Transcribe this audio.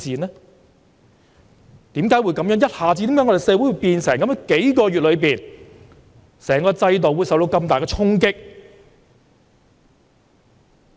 為何社會一下子變成這樣，幾個月間，整個制度受到這麼大的衝擊？